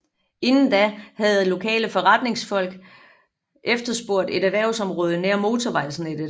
Inden da havde lokale foreretningsfolk efterspurgt et erhvervsområde nær motorvejsnettet